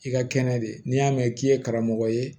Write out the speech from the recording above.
I ka kɛnɛ de n'i y'a mɛn k'i ye karamɔgɔ ye